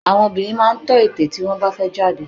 Àwọn obìnrin máa ń tọ́ ète tí wọ́n bá fẹ́ jáde